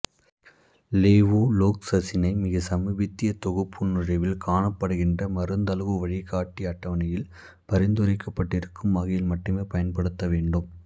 லெவொஃப்லோக்சசினை மிகச் சமீபத்திய தொகுப்பு நுழைவில் காணப்படுகின்ற மருந்தளவு வழிகாட்டி அட்டவணையில் பரிந்துரைக்கப்பட்டிருக்கும் வகையில் மட்டுமே பயன்படுத்தவேண்டும்